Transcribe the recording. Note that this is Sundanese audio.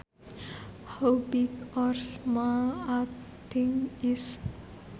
How big or small a thing is